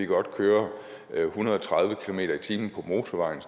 godt køre en hundrede og tredive kilometer per time på motorvejen